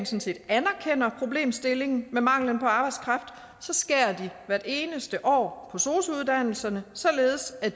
set anerkender problemstillingen med manglen på arbejdskraft skærer den hvert eneste år på sosu uddannelserne således at